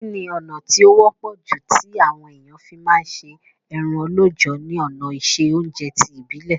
Kíni ọ̀nà ti o wọ́pọ̀ ju ti àwon èyàn fi ma se eran lọ́jọ̀ ni òná ìse ounje ti ìbílẹ́